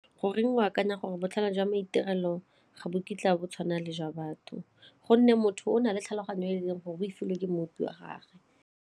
Goreng o akanya gore botlhale jwa maitirelo ga bo kitla bo tshwana le jwa batho gonne motho o na le tlhaloganyo e leng gore o e filwe ke mmopi wa gage.